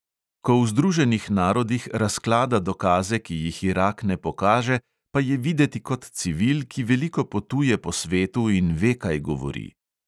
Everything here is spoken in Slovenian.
Ko v združenih narodih razklada dokaze, ki jih irak ne pokaže, pa je videti kot civil, ki veliko potuje po svetu in ve, kaj govori.